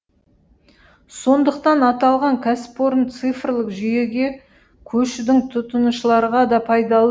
сондықтан аталған кәсіпорын цифрлық жүйеге көшудің тұтынушыларға да пайдалы